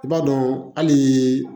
I b'a dɔn halii